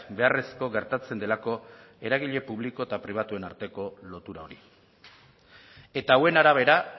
beharrezko gertatzen delako eragile publiko eta pribatuen arteko lotura hori eta hauen arabera